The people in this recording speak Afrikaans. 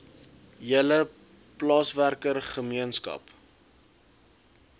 hele plaaswerker gemeenskap